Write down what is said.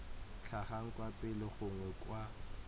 tlhagang kwa pele gongwe kwa